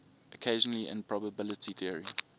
occasionally in probability theory